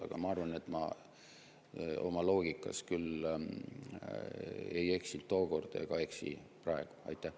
Aga ma arvan, et ma oma loogikas küll ei eksinud tookord ega eksi ka praegu.